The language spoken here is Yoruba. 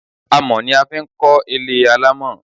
Àmọ̀ ni a fi ń kọ́ ilé alámọ̀